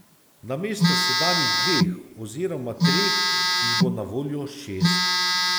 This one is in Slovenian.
Namesto sedanjih dveh oziroma treh jih bo na voljo šest.